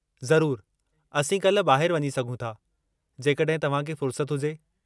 ज़रूरु, असीं काल्ह ॿाहिरि वञी सघूं था, जेकॾहिं तव्हां खे फ़ुर्सत हुजे।